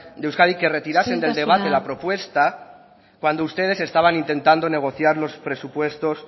de euskadi que retirasen del debate la propuesta cuando ustedes estaban intentando negociar los presupuestos